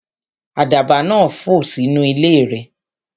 Àdàbà náà fò sínú ilé rẹ